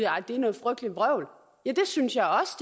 at det noget frygteligt vrøvl ja det synes jeg også